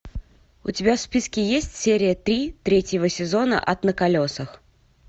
у тебя в списке есть серия три третьего сезона ад на колесах